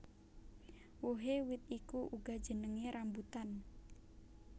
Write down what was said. Wohé wit iku uga jenengé rambutan